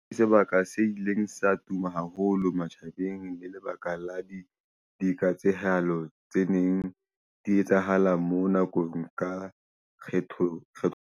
Sebaka se ileng sa tuma haholo matjhabeng le lebaka la di diketsahalo tse neng di etsahala moo nako ka kgetho .